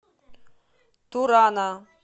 турана